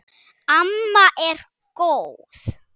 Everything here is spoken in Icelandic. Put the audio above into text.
Amma er góð!